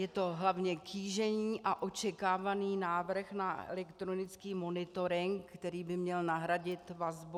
Je to hlavně kýžený a očekávaný návrh na elektronický monitoring, který by měl nahradit vazbu.